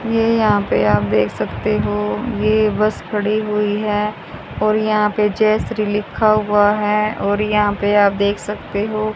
ये यहाँ पे आप देख सकते हो ये बस खड़ी हुई हैं और यहाँ पे जय श्री लिखा हुआ हैं और यहाँ पे आप देख सकते हो।